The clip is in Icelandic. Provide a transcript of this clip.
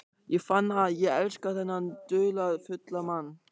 Ég fann að ég elskaði þennan dularfulla mann.